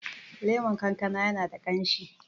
lemon kankana yana da kamshi